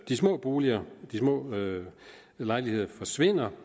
de små boliger og de små lejligheder forsvinder